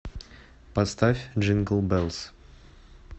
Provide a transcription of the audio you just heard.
поставь джингл беллс